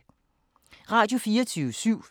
Radio24syv